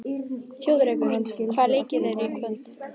Þjóðrekur, hvaða leikir eru í kvöld?